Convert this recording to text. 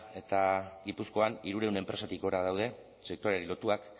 eta gipuzkoan hirurehun enpresatik gora daude sektoreari lotuak